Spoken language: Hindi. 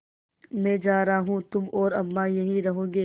मैं जा रहा हूँ तुम और अम्मा यहीं रहोगे